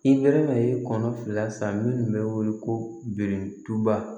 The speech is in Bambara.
I nɛrɛma ye kɔnɔ fila san minnu bɛ wele ko birintuba